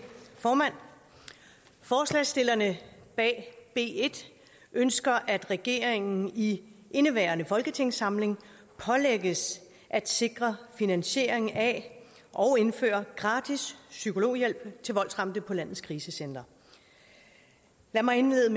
formand forslagsstillerne bag b en ønsker at regeringen i indeværende folketingssamling pålægges at sikre finansiering af og indføre gratis psykologhjælp til voldsramte på landets krisecentre lad mig indlede